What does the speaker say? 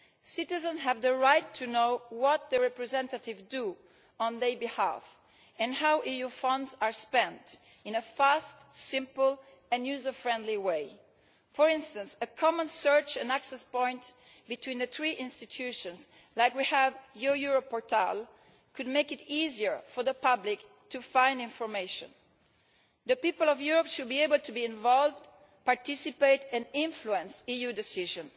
Citizens have the right to know what their representatives do on their behalf and how EU funds are spent in a fast, simple and user friendly way. For instance, a common search and access point between the three institutions, like we have with the Your Europe portal, could make it easier for the public to find information. The people of Europe should be able to be involved in, participate in and influence EU decisions.